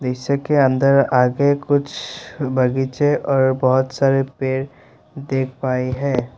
दृश्य के अंदर आगे कुछ बगीचे और बहोत सारे पेड़ देख पाए हैं।